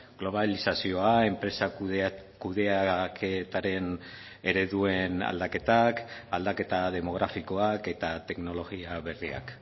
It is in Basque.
globalizazioa enpresa kudeaketaren ereduen aldaketak aldaketa demografikoak eta teknologia berriak